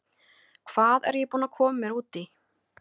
Hvað er ég búinn að koma mér út í??